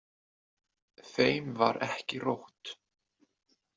Þeim var ekki rótt.